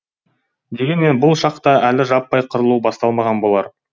дегенмен бұл шақта әлі жаппай қырылу басталмаған болар